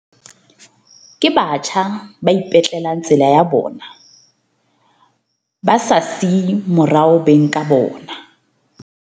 Ke batjha ba ipetlelang tsela ya bona ba sa siye morao beng ka bona.